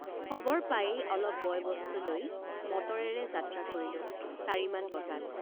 খবৰ পায়েই অলপ বয়বস্তু লৈ মটৰেৰে যাত্ৰা কৰিলো চাৰি মান বজাত।